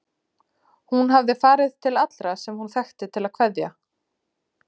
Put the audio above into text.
Hún hafði farið til allra sem hún þekkti til að kveðja.